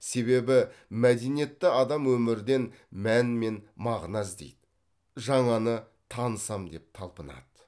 себебі мәдениетті адам өмірден мән мен мағына іздейді жаңаны танысам деп талпынады